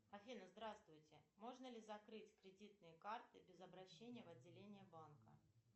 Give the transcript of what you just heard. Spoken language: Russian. афина здравствуйте можно ли закрыть кредитные карты без обращения в отделения банка